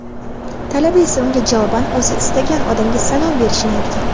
talaba esa unga javoban o‘zi istagan odamga salom berishini aytgan.